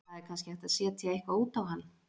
Það er kannski hægt að setja eitthvað út á hann.